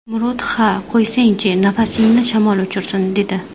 Murod ‘ha qo‘ysangchi, nafasingni shamol uchirsin’, dedi.